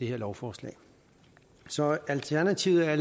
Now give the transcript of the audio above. lovforslag så i alternativet er